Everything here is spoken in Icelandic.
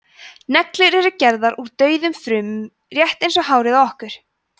neglur eru gerðar úr dauðum frumum rétt eins og hárið á okkur